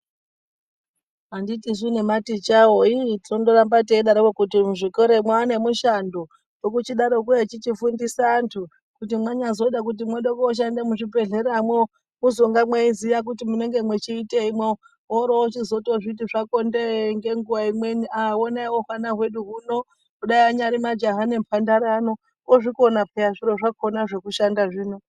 Anditisu nematicha wo iih tinondoramba teidaroko kuti muzvikora mwo iiih ane mishando Wekuchidarokwo echichifundisa antu. Kuti mwanyazoda kuti mwoda koshanda muzvibhedhlera mwo muzenge mweiziya kuti mwoda kuitei mwo. Worozochiti zvako ndee ngenguwa imweni aah honai wo hwana hwedu huno. Kudai anyari majaha nemhandara ano ozvikona peyaa zviro zvakona zvekushanda zvino.